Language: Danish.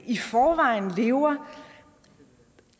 i forvejen lever